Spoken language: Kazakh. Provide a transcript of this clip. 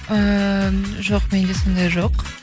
ыыы жоқ менде сондай жоқ